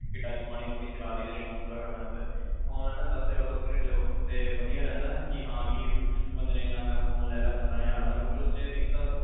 touch ਮਾੜੀ ਮੋਟੀ ਚਲਾ ਲਈ ਤੇ ਸ਼ੋਂਕ ਪੂਰਾ ਕਰਨ ਆਸਤੇ ਫੋਨ ਦਸ ਹਜ਼ਾਰ ਤੋਂ ਉੱਪਰ ਹੀ ਫੋਨ ਹੀ ਲਿਓ ਤੇ ਵਧੀਆ ਰਹਿੰਦਾ ਕੇ ਹਾਂ ਵੀ ਕੇ ਬੰਦੇ ਨੂੰ ਇਹਨਾਂ ਰਹਿੰਦਾ ਵੀ ਫੋਨ ਲੈ ਲਿਆ ਮੈਂ ਪੰਦਰਾਂ ਹਜ਼ਾਰ ਦਾ ਕਿਊ ਕਿ ਉਸ ਚ ਇਕ ਤਾ